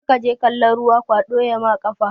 Karkaje kalon ruwa kwaɗo yama ƙafa